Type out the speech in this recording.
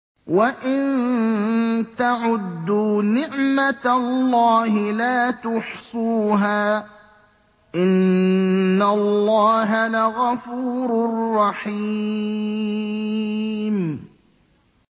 وَإِن تَعُدُّوا نِعْمَةَ اللَّهِ لَا تُحْصُوهَا ۗ إِنَّ اللَّهَ لَغَفُورٌ رَّحِيمٌ